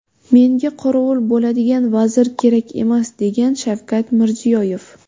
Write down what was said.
Menga qorovul bo‘ladigan vazir kerak emas”, degan Shavkat Mirziyoyev.